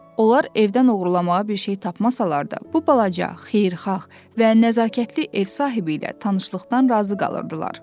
Onlar evdən oğurlamağa bir şey tapmasalar da, bu balaca, xeyirxah və nəzakətli ev sahibi ilə tanışlıqdan razı qalırdılar.